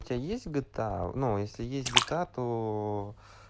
у тебя есть гта ну если есть гта то